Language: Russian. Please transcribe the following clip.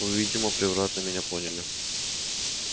вы видимо превратно меня поняли